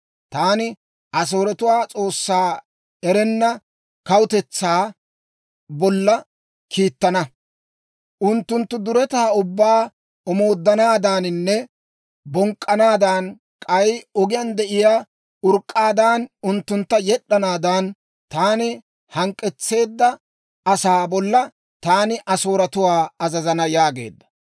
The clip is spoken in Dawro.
Taani Asooretuwaa S'oossaa erenna kawutetsaa bolla kiittana; unttunttu duretaa ubbaa omooddanaadaaninne bonk'k'anaadan, k'ay ogiyaan de'iyaa urk'k'aadan, unttuntta yed'd'anaadan, taana hank'k'etseedda asaa bolla taani Asooretuwaa azazana» yaageedda.